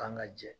Kan ka jɛ